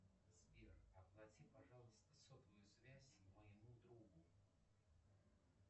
сбер оплати пожалуйста сотовую связь моему другу